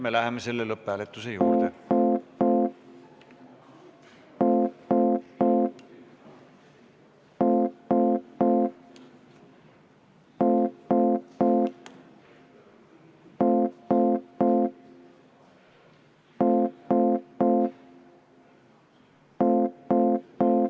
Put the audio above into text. Läheme lõpphääletuse juurde.